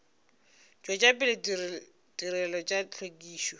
tšwetša pele ditirelo tša hlwekišo